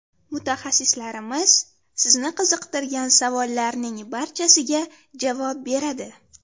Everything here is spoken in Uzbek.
Mutaxassislarimiz sizni qiziqtirgan savollarning barchasiga javob beradi.